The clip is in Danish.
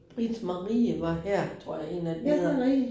Britt-Marie var her tror jeg 1 af dem hedder